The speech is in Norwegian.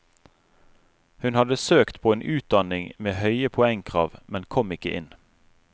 Hun hadde søkt på en utdanning med høye poengkrav, men kom ikke inn.